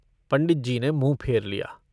पंडित जी ने मुँह फेर लिया।